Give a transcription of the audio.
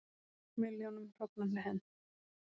Milljónum hrogna hent